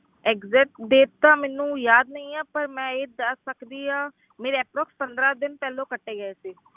Exact date ਤਾਂ ਮੈਨੂੰ ਯਾਦ ਨਹੀਂ ਆਂ ਪਰ ਮੈਂ ਇਹ ਦੱਸ ਸਕਦੀ ਹਾਂ ਮੇਰੇ approx ਪੰਦਰਾਂ ਦਿਨ ਪਹਿਲਾਂ ਕੱਟੇ ਗਏ ਸੀ।